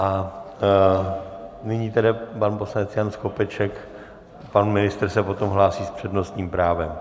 A nyní tedy pan poslanec Jan Skopeček, pan ministr se potom hlásí s přednostním právem.